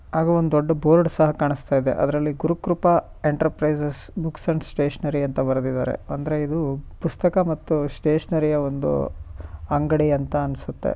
ಹಾಗೂ ಒಂದು ದೊಡ್ಡ ಬೋರ್ಡ್ ಸಹ ಕಾಣಿಸ್ತಾ ಇದೆ ಅದರಲ್ಲಿ Gurukripa enterprises books and stationery ಅಂತ ಬರೆದಿದ್ದಾರೆ ಅಂದ್ರೆ ಇದು ಪುಸ್ತಕ ಮತ್ತು ಸ್ಟೇಷನರಿಯ ಒಂದು ಅಂಗಡಿ ಅಂತ ಅನ್ಸುತ್ತೆ